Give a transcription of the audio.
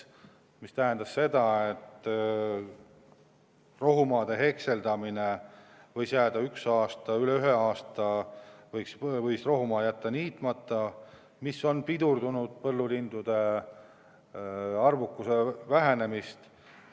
See tähendab seda, et üle ühe aasta on võinud rohumaa jätta niitmata, ja see on pidurdanud põllulindude arvukuse vähenemist.